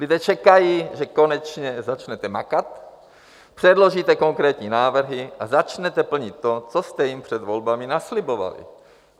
Lidé čekají, že konečně začnete makat, předložíte konkrétní návrhy a začnete plnit to, co jste jim před volbami naslibovali.